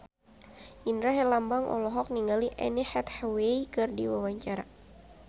Indra Herlambang olohok ningali Anne Hathaway keur diwawancara